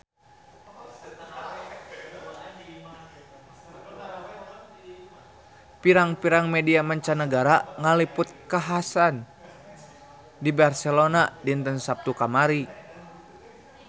Pirang-pirang media mancanagara ngaliput kakhasan di Barcelona dinten Saptu kamari